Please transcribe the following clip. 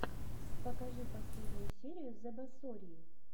покажи последнюю серию зэбасорьи